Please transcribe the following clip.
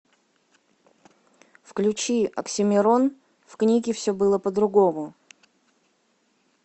включи оксимирон в книге все было по другому